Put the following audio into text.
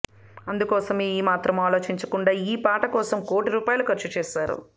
అందుకోసమే ఏ మాత్రం ఆలోచించకుండా ఈ పాట కోసం కోటి రూపాయలు ఖర్చు చేస్తున్నారు